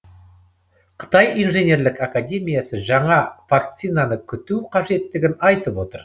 қытай инженерлік академиясы жаңа вакцинаны күту қажеттігін айтып отыр